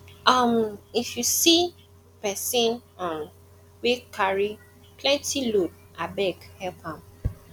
um if you see um pesin um wey carry plenty load abeg help am